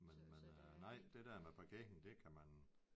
Men men øh nej det der med parkering det kan man